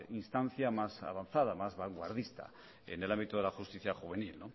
instancia más avanzada más vanguardista en el ámbito de la justicia juvenil